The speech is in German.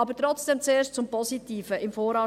Doch zuerst zum Positiven: